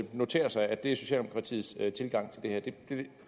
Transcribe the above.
notere sig at det er socialdemokratiets tilgang til det her det er